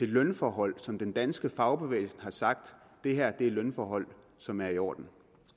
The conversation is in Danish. lønforhold som den danske fagbevægelse har sagt er lønforhold som er i orden